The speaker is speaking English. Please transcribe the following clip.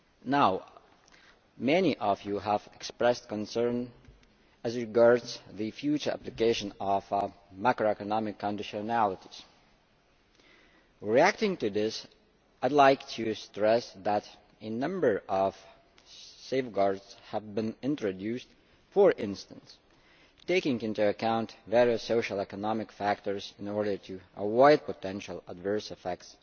Now, many of you have expressed concerns as regards the future application of macroeconomic conditionalities. In response to this, I would like to stress that a number of safeguards have been introduced, for instance, taking into account various social and economic factors in order to avoid the potential adverse effects